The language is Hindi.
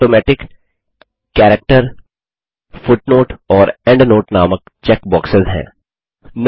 यहाँAutomatic कैरेक्टर फुटनोट और एंडनोट नामक चेकबॉक्सेस हैं